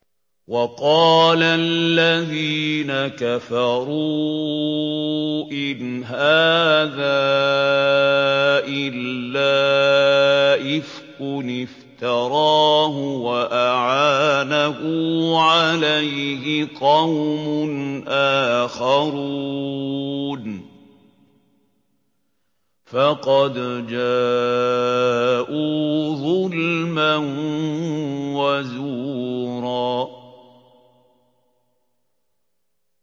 وَقَالَ الَّذِينَ كَفَرُوا إِنْ هَٰذَا إِلَّا إِفْكٌ افْتَرَاهُ وَأَعَانَهُ عَلَيْهِ قَوْمٌ آخَرُونَ ۖ فَقَدْ جَاءُوا ظُلْمًا وَزُورًا